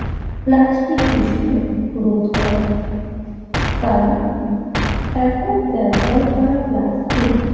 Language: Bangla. প্লাস্টিক দূষণের রোধ করা কারণ একক ব্যবহার করা প্লাস্টিক